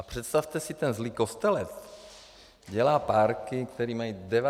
A představte si, ten zlý Kostelec dělá párky, které mají 90 % masa.